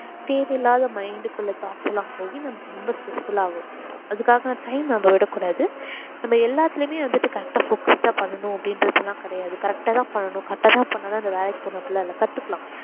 தேவை இல்லாத mind குள்ள thoughts எல்லாம் போயி நம்ம ரொம்ப stressful ஆவோம். அதுக்காக time நம்ம விடக்கூடாது நம்ம எல்லாத்துலயுமே வந்துட்டு correct ஆ focused ஆ பண்ணனும் அப்படின்றதெல்லாம் கிடையாது correct ஆ தான் பண்ணனும் correct ஆ தான் பண்ணா தான் இந்த வேலைக்கு போலாம் அப்படி எல்லாம் இல்ல கத்துக்கலாம்.